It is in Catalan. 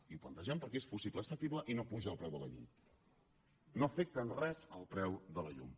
i ho plantegem perquè és possible és factible i no apuja el preu de la llum no afecta en res el preu de la llum